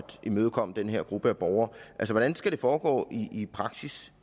imødekomme den her gruppe af borgere altså hvordan skal det foregå i praksis